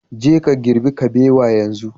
Je ka girbi kabewa yanzu